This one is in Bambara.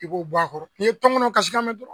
I b'o bɔ a kɔrɔ n'i ye tɔnkɔnɔ kasikan mɛn dɔrɔn